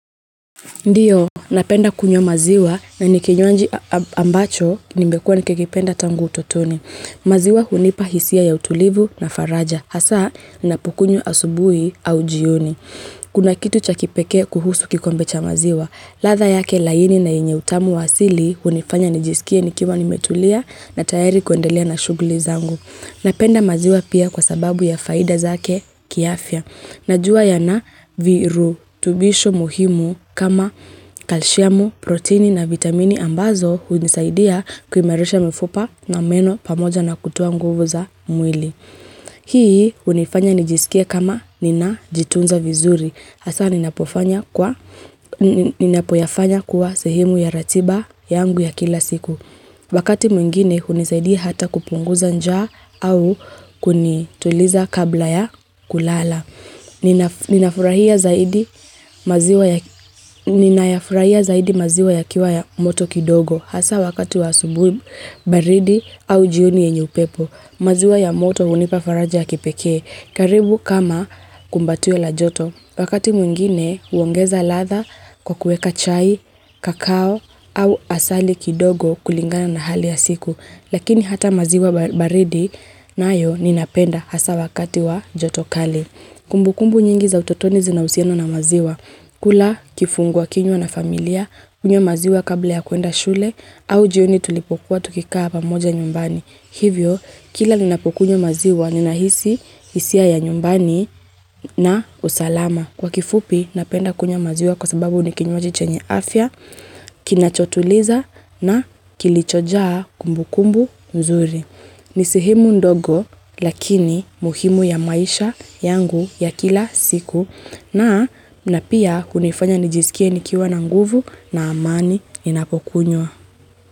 Ndiyo, napenda kunywa maziwa na nikinywaji ambacho nimekua nikikipenda tangu utotoni. Maziwa hunipa hisia ya utulivu na faraja, hasa napokunywa asubui au jioni. Kuna kitu cha kipeke kuhusu kikombe cha maziwa. Latha yake laini na inye utamu wasili hunifanya nijisikie nikima nimetulia na tayari kuendelia na shuguli zangu. Napenda maziwa pia kwa sababu ya faida zake kiafya. Najua ya na virutubisho muhimu kama kalshiamu, protini na vitamini ambazo unisaidia kuimarisha mfupa na meno pamoja na kutoa nguvu za mwili. Hii unifanya nijisikia kama nina jitunza vizuri. Hasa ninapoyafanya kuwa sehimu ya ratiba yangu ya kila siku. Wakati mwingine unisaidia hata kupunguza nja au kunituliza kabla ya kulala. Ninafurahia zaidi maziwa yakiwa ya moto kidogo Hasa wakati wa subu baridi au jioni yenye upepo maziwa ya moto unipafaraja ya kipeke karibu kama kumbatio la joto Wakati mwingine uongeza latha kwa kueka chai, kakao au asali kidogo kulingana na hali ya siku Lakini hata maziwa baridi nayo ninapenda hasa wakati wa joto kali Kumbu kumbu nyingi za utotoni zina usieno na maziwa. Kula kifungua kinwa na familia, kunwa maziwa kabla ya kuenda shule au jioni tulipokuwa tukikaa pamoja nyumbani. Hivyo, kila ninapokunwa maziwa, ninahisi isia ya nyumbani na usalama. Kwa kifupi napenda kunya maziwa kwa sababu ni kinyoaji chenye afya, kinachotuliza na kilichojaa kumbu kumbu mzuri. Ni sehemu ndogo lakini muhimu ya maisha yangu ya kila siku na na pia kunifanya nijisikia nikiwa na nguvu na amani inapokunywa.